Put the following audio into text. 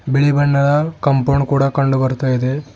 ಬಿಳಿ ಬಣ್ಣದ ಕಂಪೌಂಡ್ ಕೂಡ ಕಂಡು ಬರ್ತಾ ಇದೆ.